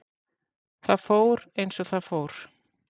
Það fór, eins og það fór.